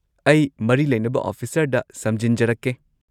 ꯑꯩ ꯃꯔꯤ ꯂꯩꯅꯕ ꯑꯣꯐꯤꯁꯔꯗ ꯁꯝꯖꯤꯟꯖꯔꯛꯀꯦ꯫